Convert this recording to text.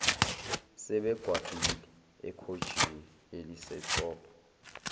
sebekwabhili ekhothiji elisetop